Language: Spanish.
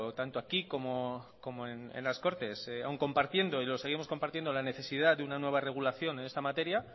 tanto aquí como en las cortes aún compartiendo y lo seguimos compartiendo la necesidad de una nueva regulación en esta materia